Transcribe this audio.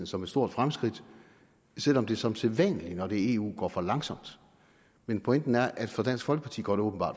som et stort fremskridt selv om det som sædvanlig når det er eu går for langsomt men pointen er at for dansk folkeparti går